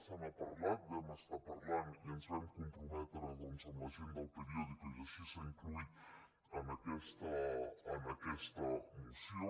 se n’ha parlat en vam estar parlant i ens vam comprometre doncs amb la gent d’el periódico i així s’ha inclòs en aquesta moció